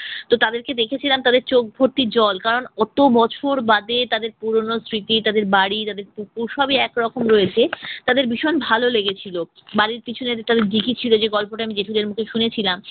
তো তাদেরকে দেখেছিলাম তাদের চোখ ভর্তি জল কারন অত বছর বাদে তাদের পুরোনো স্মৃতি তাদের বাড়ি তাদের পুকুর বসিই এক রকম রয়েছে তাদের ভিশন ভালো লেগেছিল বাড়ীর পিছনে যে তাদের দীঘি ছিলো যে গল্পটা আমি জেঠুদের মুখে শুনেছিলাম।